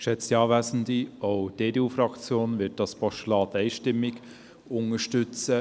Auch die EDU-Fraktion wird dieses Postulat einstimmig unterstützen.